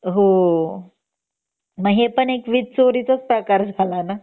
हो मग हे पण एक वीज चोरीचाच प्रकार झाला ना